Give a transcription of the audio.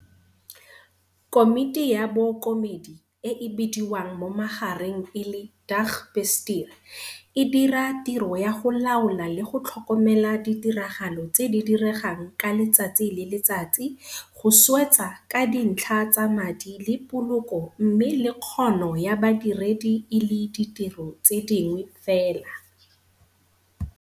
Komiti ya Bookomedi, e e bidiwang mo magareng e le 'Dagbestuur', e dira tiro ya go laola le go tlhokomela ditiragalo tse di diregang ka letsatsi le letsatsi, go swetsa ka dintlha tsa madi le poloko mme le kgono ya badiredi e le ditiro tse dingwe fela.